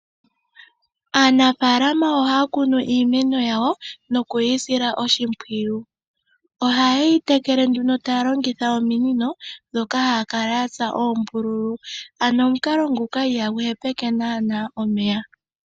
Aanafalama ohaya kunu iimeno yawo, no kuyisila oshimpwiyu. Oha yeyi tekele nduno taya longitha ominino dhoka haya kala yatsa oombululu, ano omukalo nguka ihagu he peke nanaa omeya.